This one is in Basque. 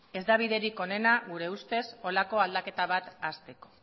ez da biderik onena gure ustez holako aldaketa bat hazteko